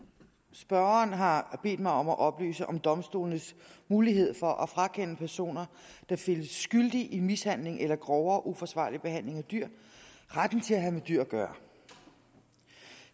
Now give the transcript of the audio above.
spørgeren har bedt mig om at oplyse om domstolenes mulighed for at frakende personer der findes skyldige i mishandling eller grovere uforsvarlig behandling af dyr retten til at have med dyr at gøre